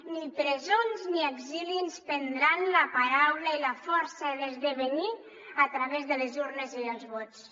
ni presons ni exili ens prendran la paraula i la força d’esdevenir a través de les urnes i dels vots